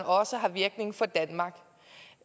også har virkning for danmark